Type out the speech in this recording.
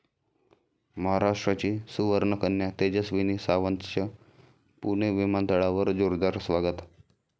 महाराष्ट्राची सुवर्णकन्या तेजस्विनी सावंतचं पुणे विमानतळावर जोरदार स्वागत